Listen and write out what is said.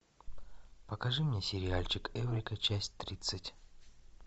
покажи мне сериальчик эврика часть тридцать